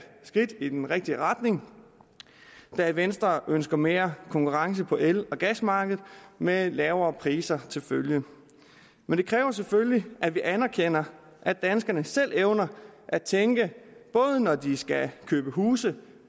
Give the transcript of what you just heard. skridt i den rigtige retning da venstre ønsker mere konkurrence på el og gasmarkedet med lavere priser til følge men det kræver selvfølgelig at vi anerkender at danskerne selv evner at tænke både når de skal købe huse